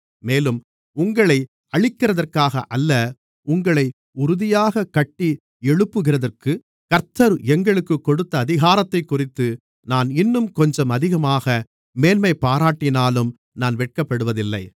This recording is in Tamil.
மேலும் உங்களை அழிக்கிறதற்காக அல்ல உங்களை உறுதியாகக் கட்டி எழுப்புகிறதற்குக் கர்த்தர் எங்களுக்குக் கொடுத்த அதிகாரத்தைக்குறித்து நான் இன்னும் கொஞ்சம் அதிகமாக மேன்மைபாராட்டினாலும் நான் வெட்கப்படுவதில்லை